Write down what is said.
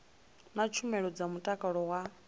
na tshumelo dza mutakalo wa